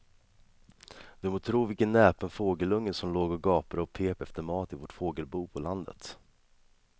Du må tro vilken näpen fågelunge som låg och gapade och pep efter mat i vårt fågelbo på landet.